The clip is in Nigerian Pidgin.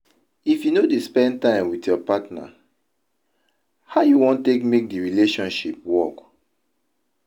If you no dey spend time wit your partner, how you wan take make di relationship work?